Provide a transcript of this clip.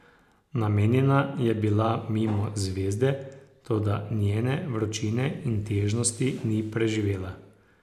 Namenjena je bila mimo zvezde, toda njene vročine in težnosti ni preživela.